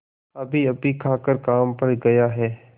अभीअभी खाकर काम पर गया है